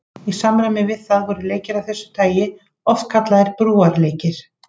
Í samræmi við það voru leikir af þessu tagi oft kallaðir brúarleikir.